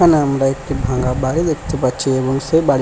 এখানে আমরা একটি ভাঙ্গা বাড়ি দেখতে পাচ্ছি এবং সে বাড়ি --